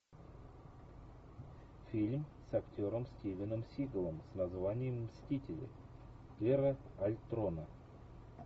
фильм с актером стивеном сигалом с названием мстители эра альтрона